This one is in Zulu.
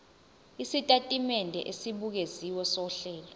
isitatimende esibukeziwe sohlelo